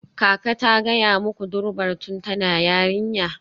Kaka ta gaya muku Durbar tun tana yarinya?